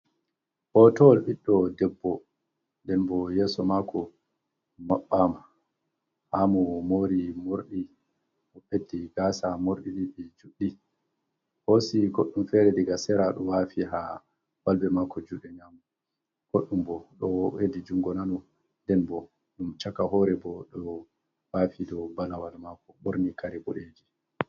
Hootowal biɗɗo debbo nden boo yeeso maako maɓɓaama haa mo moori morɗi ɓeddi gaasa morɗi ɗin ɗi juɗɗi hoosi goɗɗum feere daga sera ɗo waafi haa balbe maako juuɗe nyamo goɗɗum boo ɗo weɗi junngo nano nden boo ɗum caka hoore boo ɗo waafi ɗo balawal maako ɓorni kare boɗeejum.